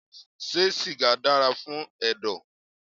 Ṣé sìgá dára fún ẹ̀dọ̀.?